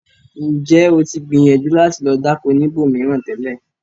Ǹjẹ́ o tì gbíyànjú láti lo dákọ̀ níbó míran tẹlẹ̀?